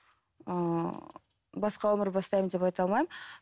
ыыы басқа өмір бастаймын деп айта алмаймын